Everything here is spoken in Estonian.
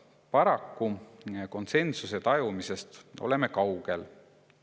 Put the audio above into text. Paraku oleme konsensuse tajumisest kaugel.